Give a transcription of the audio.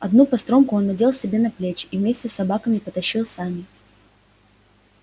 одну постромку он надел себе на плечи и вместе с собаками потащил сани